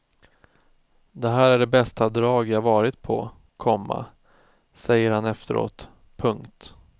Det här är det bästa drag jag varit på, komma säger han efteråt. punkt